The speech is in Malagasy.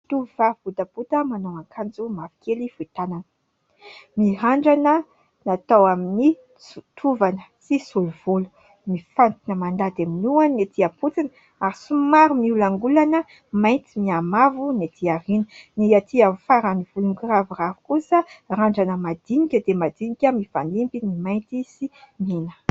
Tovovavy botabota, manao akanjo mavokely fohy tanana, mirandana natao amin'ny tovana sy solovolo, mifantina mandady amin'ny lohany ny etỳ am-potony ; ary somary miolakolana mainty mihamavo ny etỳ aoriana ; ny atỳ afaran'ny volo mikiraviravy kosa mirandrana madinika dia madinika, mifanimby ny mainty sy mena.